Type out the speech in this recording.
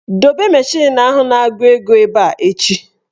Dobe mashin ahụ na-agụ ego ebe a echi"!.